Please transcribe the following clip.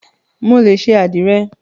Mo lè ṣe àdìrẹ.